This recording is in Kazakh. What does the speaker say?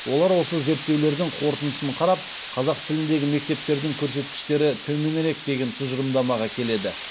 олар осы зерттеулердің қорытындысын қарап қазақ тіліндегі мектептердің көрсеткіштері төменірек деген тұжырымдамаға келеді